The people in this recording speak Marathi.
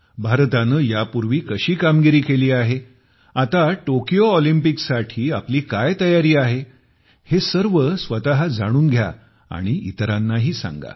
भारताने यापूर्वी कशी कामगिरी केली आहे आता टोकियो ऑलिम्पिकसाठी आपली काय तयारी आहे हे सर्व स्वतः जाणून घ्या आणि इतरांनाही सांगा